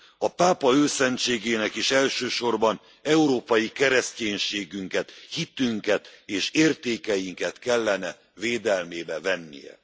A Pápa Őszentségének is elsősorban európai keresztyénségünket, hitünket és értékeinket kellene védelmébe vennie.